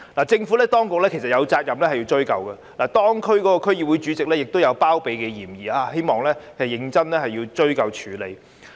政府當局有責任追究，而當區區議會主席也有包庇嫌疑，希望當局認真追究和處理。